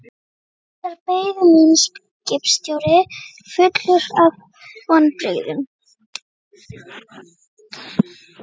Þar beið mín skipstjóri fullur af vonbrigðum.